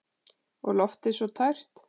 Og loftið svo tært.